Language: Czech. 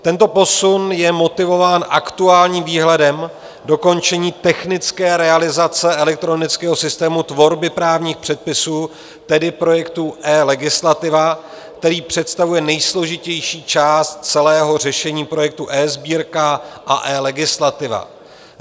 Tento posun je motivován aktuálním výhledem dokončení technické realizace elektronického systému tvorby právních předpisů, tedy projektu eLegislativa, který představuje nejsložitější část celého řešení projektu eSbírka a eLegislativa.